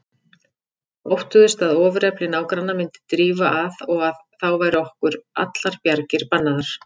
Óttuðust að ofurefli nágranna myndi drífa að og að þá væru okkur allar bjargir bannaðar.